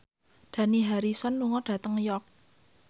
Dani Harrison lunga dhateng York